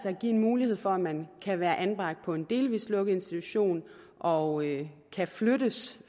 at give en mulighed for at man kan være anbragt på en delvis lukket institution og kan flyttes